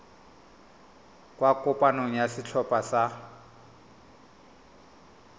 kwa kopanong ya setlhopha sa